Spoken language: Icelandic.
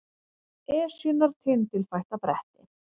Esjunnar tindilfætta bretti